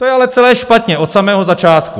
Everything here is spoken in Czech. To je ale celé špatně od samého začátku!